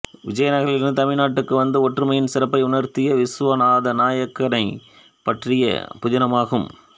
விஜயநகரிலிருந்து தமிழ் நாட்டுக்கு வந்து ஒற்றுமையின் சிறப்பை உணர்த்திய விசுவநாத நாயக்கனைப் பற்றிய புதினமாகும்